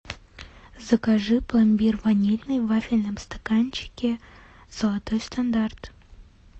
закажи пломбир ванильный в вафельном стаканчике золотой стандарт